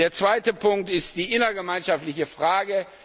Der zweite Punkt ist die innergemeinschaftliche Frage.